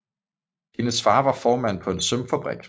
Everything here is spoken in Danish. Hendes far var formand på en sømfabrik